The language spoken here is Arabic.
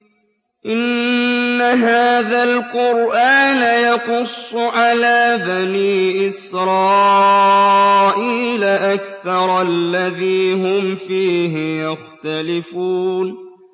إِنَّ هَٰذَا الْقُرْآنَ يَقُصُّ عَلَىٰ بَنِي إِسْرَائِيلَ أَكْثَرَ الَّذِي هُمْ فِيهِ يَخْتَلِفُونَ